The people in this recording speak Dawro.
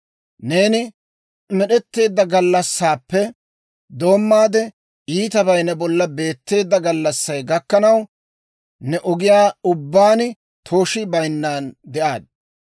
«‹ «Neeni med'etteedda gallassaappe doommaade, iitabay ne bolla beetteedda gallassay gakkanaw, ne ogiyaa ubbaan tooshii bayinnan de'aadda.